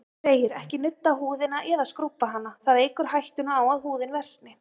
Þar segir: Ekki nudda húðina, eða skrúbba hana, það eykur hættuna á að húðin versni.